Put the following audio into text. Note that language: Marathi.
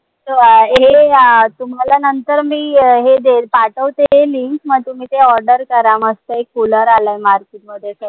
हे अं तुम्हाला नंतर मी हे देईल पाठवते link मी तुम्ही ते order करा मस्त एक cooler आलाय market मध्ये